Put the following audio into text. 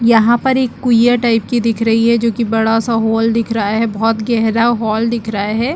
यहाँ पर एक कुईया टाइप की दिख रही है जो की बडा स हॉल दिख रही है बहुत गहरा हॉल दिख रहा है।